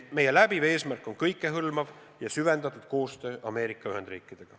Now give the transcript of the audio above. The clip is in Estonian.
Meie läbiv eesmärk on kõikehõlmav ja süvendatud koostöö Ameerika Ühendriikidega.